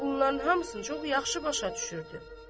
Bunların hamısını çox yaxşı başa düşürdü.